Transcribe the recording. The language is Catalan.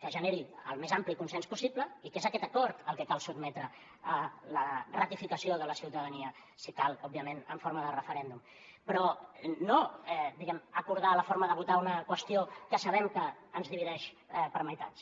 que generi el més ampli consens possible i que és aquest acord el que cal sotmetre a la ratificació de la ciutadania si cal òbviament en forma de referèndum però no acordar la forma de votar una qüestió que sabem que ens divideix per meitats